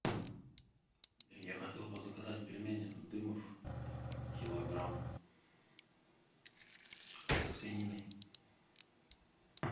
я хотел бы заказать пельмени дымов килограмм со свининой